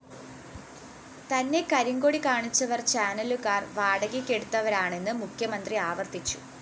തന്നെ കരിങ്കൊടി കാണിച്ചവര്‍ ചാനലുകാര്‍ വാടകയ്‌ക്കെടുത്തവരാണെന്ന് മുഖ്യമന്ത്രി ആവര്‍ത്തിച്ചു